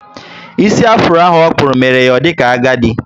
Ísì afuro ahụ okpúrụ, mere ya o dika agadi